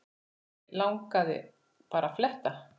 Mig langaði bara að fletta